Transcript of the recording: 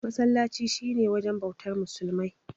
Masallaci shi ne wujen bautar musulmai.